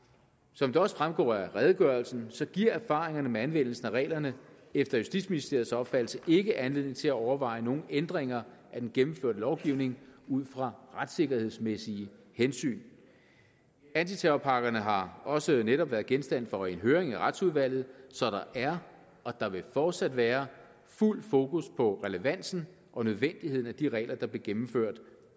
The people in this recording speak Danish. som det også fremgår af redegørelsen giver erfaringerne med anvendelsen af reglerne efter justitsministeriets opfattelse ikke anledning til at overveje nogen ændringer af den gennemførte lovgivning ud fra retssikkerhedsmæssige hensyn antiterrorpakkerne har også netop været genstand for en høring i retsudvalget så der er og der vil fortsat være fuldt fokus på relevansen og nødvendigheden af de regler der blev gennemført